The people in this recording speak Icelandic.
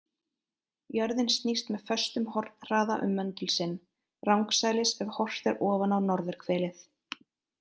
Jörðin snýst með föstum hornhraða um möndul sinn, rangsælis ef horft er ofan á norðurhvelið.